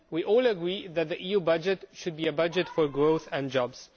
We all agree that the EU budget should be a budget for growth and jobs.